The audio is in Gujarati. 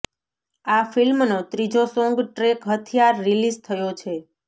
આ ફિલ્મનો ત્રીજો સોંગ ટ્રેક હથિયાર રિલીઝ થયો છે